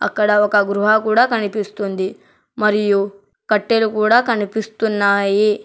అక్కడ ఒక గృహ కూడా కనిపిస్తుంది మరియు కట్టెలు కూడా కనిపిస్తున్నాయి.